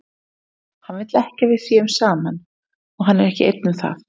Hann vill ekki að við séum saman, og hann er ekki einn um það.